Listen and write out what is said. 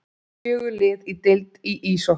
Fjögur lið í deild í íshokkí